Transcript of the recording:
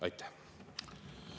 Aitäh!